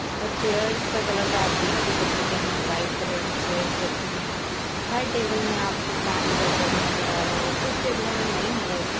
और चेयरस का कलर तो आप देख ही सकते है वाइट कलर की चेयरस रखी हुई है। हर टेबल मे आपको पानी का जग नज़र आ रहा होगा कुछ टेबलो मे नहीं है वैसे।